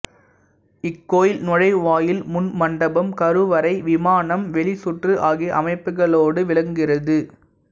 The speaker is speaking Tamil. இக்கோயில் நுழைவாயில் முன் மண்டபம் கருவறை விமானம் வெளிச்சுற்று ஆகிய அமைப்புகளோடு விளங்குகிறது